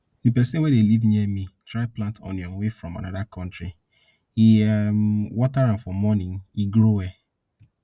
the person wey dey live near me try plant onion wey from another country e um water am for morning e grow well